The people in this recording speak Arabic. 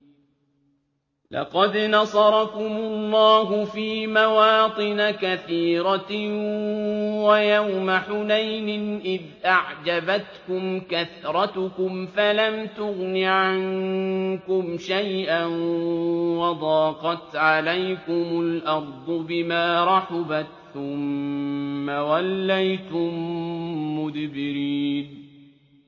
لَقَدْ نَصَرَكُمُ اللَّهُ فِي مَوَاطِنَ كَثِيرَةٍ ۙ وَيَوْمَ حُنَيْنٍ ۙ إِذْ أَعْجَبَتْكُمْ كَثْرَتُكُمْ فَلَمْ تُغْنِ عَنكُمْ شَيْئًا وَضَاقَتْ عَلَيْكُمُ الْأَرْضُ بِمَا رَحُبَتْ ثُمَّ وَلَّيْتُم مُّدْبِرِينَ